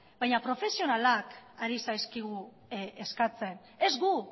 baina profesionalak ari zaizkigu eskatzen ez gu